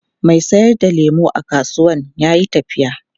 Mai sayar da lemu a kasuwan ya yi tafiya.